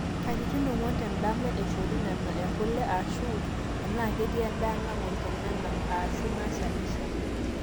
katitin ong'wan tendama eishori nena ekule ashu enaa ketii endaa nagol tenena aashu nashalishal